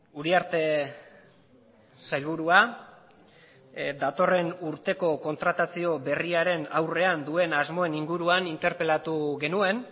uriarte sailburua datorren urteko kontratazio berriaren aurrean duen asmoen inguruan interpelatu genuen